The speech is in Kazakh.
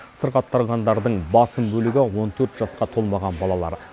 сырқаттанғандардың басым бөлігі он төрт жасқа толмаған балалар